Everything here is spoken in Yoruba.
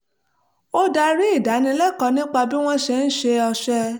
ó darí ìdánilẹ́kọ̀ọ́ nípa bí wọ́n ṣe ń ṣe ọṣẹ